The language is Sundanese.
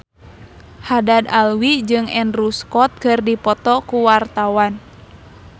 Haddad Alwi jeung Andrew Scott keur dipoto ku wartawan